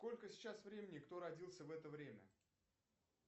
сколько сейчас времени кто родился в это время